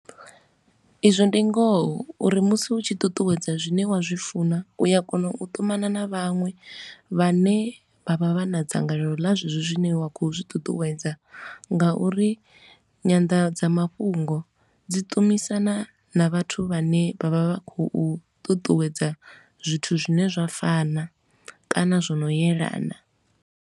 Izwo ndi ngoho uri musi u tshi ṱuṱuwedza zwine wa zwi funa, u a kona u ṱumana na vhaṅwe vhane vha vha vha na dzangalelo ḽa zwezwo zwine wa khou zwi ṱuṱuwedza. Ngauri nyanḓadzamafhungo dzi ṱumisana na vhathu vhane vha vha vha khou ṱuṱuwedza zwithu zwine zwa fana kana zwo no elana.